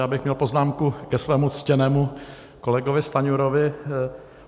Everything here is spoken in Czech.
Já bych měl poznámku ke svému ctěnému kolegovi Stanjurovi.